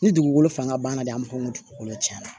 Ni dugukolo fanga banna de an b'a fɔ ko dugukolo tiɲɛna